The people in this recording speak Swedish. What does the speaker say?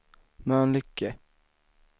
Mölnlycke